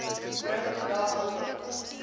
bring vandag hulde